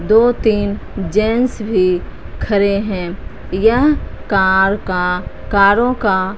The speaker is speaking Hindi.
दो तीन जेंट्स भी खड़े हैं या कार का कारों का--